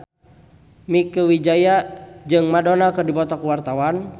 Mieke Wijaya jeung Madonna keur dipoto ku wartawan